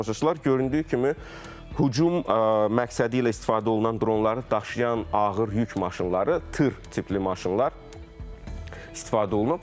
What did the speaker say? Göründüyü kimi, hücum məqsədi ilə istifadə olunan dronları daşıyan ağır yük maşınları, tır tipli maşınlar istifadə olunub.